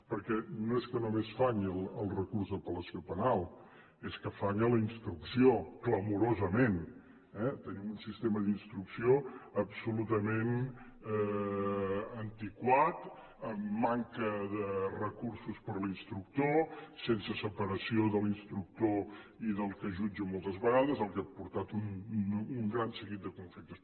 perquè no és que només falli el recurs d’apel·lació penal és que falla la instrucció clamorosament eh tenim un sistema d’instrucció absolutament antiquat amb manca de recursos per a l’instructor sense separació de l’instructor i del que jutja moltes vegades fet que ha portat un gran seguit de conflictes